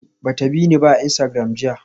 Hanatu ba ta bi ni a Instagram jiya ba